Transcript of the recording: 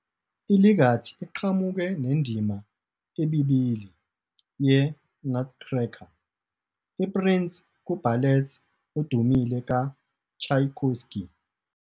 I-Legat iqhamuke nendima ebibili yeNutcracker, i-Prince ku-ballet odumile kaTchaikovsky.